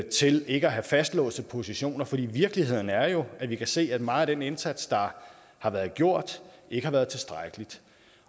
til ikke at have fastlåste positioner for virkeligheden er jo at vi kan se at meget af den indsats der har været gjort ikke har været tilstrækkelig